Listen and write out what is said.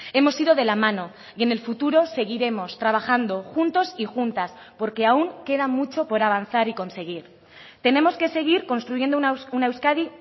hemos ido de la mano y en el futuro seguiremos trabajando juntos y juntas porque aún queda mucho por avanzar y conseguir tenemos que seguir construyendo una euskadi